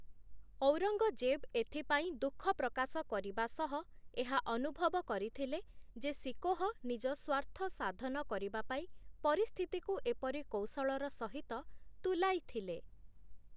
ଔରଙ୍ଗଜେବ୍ ଏଥିପାଇଁ ଦୁଃଖ ପ୍ରକାଶ କରିବା ସହ, ଏହା ଅନୁଭବ କରିଥିଲେ ଯେ ଶିକୋହ ନିଜ ସ୍ୱାର୍ଥ ସାଧନ କରିବା ପାଇଁ ପରିସ୍ଥିତିକୁ ଏପରି କୌଶଳର ସହିତ ତୁଲାଇ ଥିଲେ ।